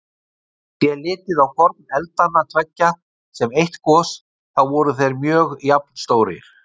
Sé litið á hvorn eldanna tveggja sem eitt gos, þá voru þeir mjög jafnstórir.